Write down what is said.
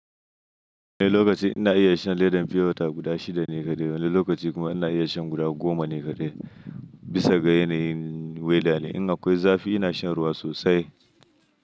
Wani lokaci ina iya shan ledan fiyota guda shida ne kaɗai, wani lokaci kuma ina iya shan guda goma ne kaɗai. Bisa ga yanayin weda ne, in akwai zafi ina shan ruwa sosai.